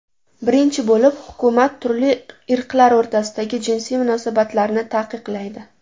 Birinchi bo‘lib, hukumat turli irqlar o‘rtasidagi jinsiy munosabatlarni taqiqlaydi.